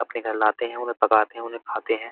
अपने घर लाते हैं। उन्हें पकाते हैं। उन्हें खाते हैं।